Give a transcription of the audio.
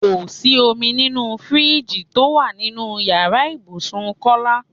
Kò sí omi nínú fíríìjiì tó wà nínú ìyára ibùsùn Kọ́lá.